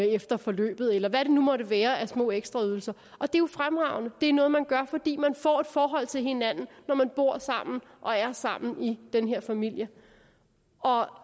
efter forløbet eller hvad det nu måtte være af små ekstraydelser og det er jo fremragende det er noget man gør fordi man får et forhold til hinanden når man bor sammen og er sammen i den her familie